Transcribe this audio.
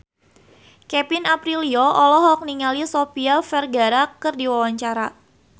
Kevin Aprilio olohok ningali Sofia Vergara keur diwawancara